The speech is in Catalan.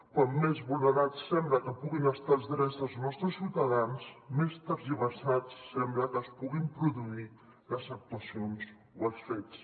com més vulnerats sembla que puguin estar els drets dels nostres ciutadans més tergiversats sembla que es puguin produir les actuacions o els fets